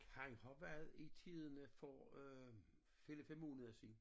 Han har været i Tidende for øh 4 5 måneder siden